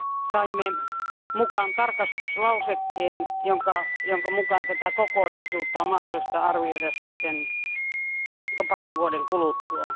Saimme mukaan tarkastuslausekkeen, jonka mukaan tätä kokonaisuutta on mahdollista arvioida parin vuoden kuluttua.